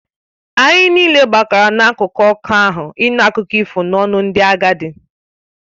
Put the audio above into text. Anyị niile gbakọrọ n’akụkụ ọkụ ahụ ịnụ akụkọ ifo n’ọnụ ndị agadi